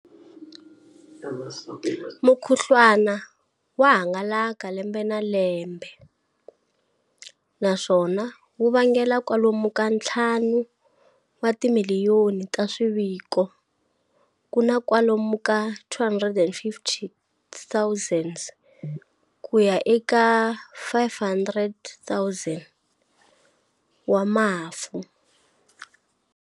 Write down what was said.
Mukhuhlwana wa hangalaka lembe na lembe, naswona wu vangela kwalomu ka ntlhanu wa timiliyoni ta swiviko ku na kwalomu ka 250,000 ku ya eka 500,000 wa mafu.